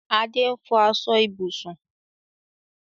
Adé n fọ aṣọ ibùsùn